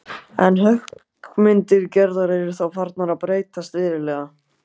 En höggmyndir Gerðar eru þá farnar að breytast verulega.